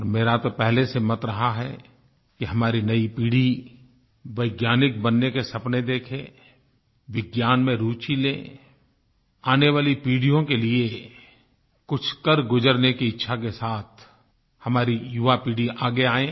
और मेरा तो पहले से मत रहा है कि हमारी नई पीढ़ी वैज्ञानिक बनने के सपने देखे विज्ञान में रूचि ले आने वाली पीढ़ियों के लिये कुछ कर गुजरने की इच्छा के साथ हमारी युवा पीढ़ी आगे आए